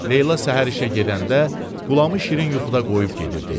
Leyla səhər işə gedəndə Qulamı şirin yuxuda qoyub gedirdi.